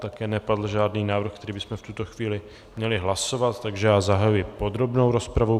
Také nepadl žádný návrh, který bychom v tuto chvíli měli hlasovat, takže já zahajuji podrobnou rozpravu.